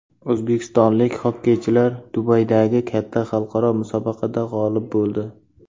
O‘zbekistonlik xokkeychilar Dubaydagi katta xalqaro musobaqada g‘olib bo‘ldi .